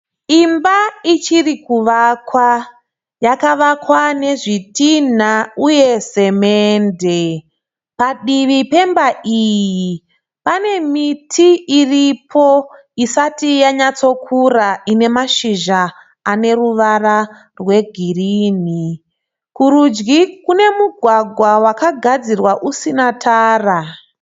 Imba ichiri kuvakwa. Yakavakwa nezvitinha uye semende. Padivi pemba iyi pane miti iripo isati yanyatsokura ine mashizha ane ruvara rwegirinhi. Kurudyi kune mugwagwa wakagadzirwa usina tara.